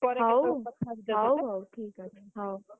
ହଉହଉ, ହଉ ଠିକଅଛି ହଉ, ହଉ।